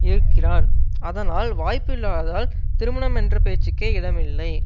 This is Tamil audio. இருக்கிறான் அதனால் வாய்ப்பு இல்லாததால் திருமணம் என்ற பேச்சுக்கே இடமில்லை